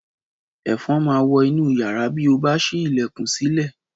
Ẹ̀fọn máa wọ inú yàrá bí o bá ṣí ilẹ̀kùn sílẹ̀